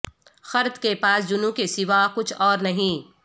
خرد کے پاس جنوں کے سوا کچھ اور نہیں